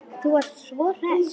Þú varst svo hress.